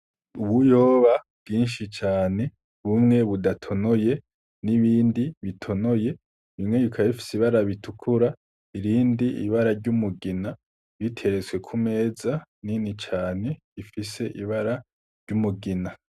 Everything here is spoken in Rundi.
Ubuyoba bwinshi cane bumwe budatonoye n'ibindi bitonoye bimwe yuka efisi barabitukura irindi ibara ry'umugina biteretswe ku meza nini cane ifise ibara ry'umugina.